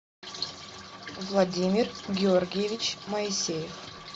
владимир георгиевич моисеев